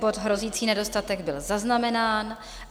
Bod hrozící nedostatek byl zaznamenán.